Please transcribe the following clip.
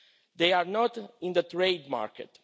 They are not in the trade market.